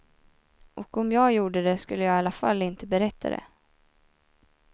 Och om jag gjorde det skulle jag i alla fall inte berätta det.